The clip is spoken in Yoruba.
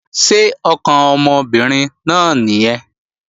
Ṣé ọkàn ọmọbìnrin náà nìyẹn?